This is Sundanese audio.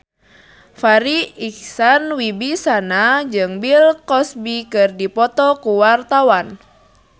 Farri Icksan Wibisana jeung Bill Cosby keur dipoto ku wartawan